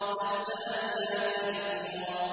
فَالتَّالِيَاتِ ذِكْرًا